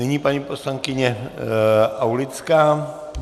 Nyní paní poslankyně Aulická.